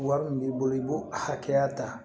Wari min b'i bolo i b'o a hakɛya ta